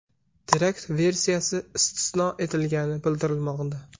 Terakt versiyasi istisno etilgani bildirilmoqda.